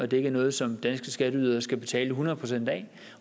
det ikke er noget som danske skatteydere skal betale hundrede procent